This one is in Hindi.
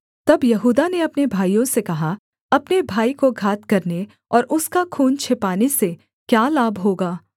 तब यहूदा ने अपने भाइयों से कहा अपने भाई को घात करने और उसका खून छिपाने से क्या लाभ होगा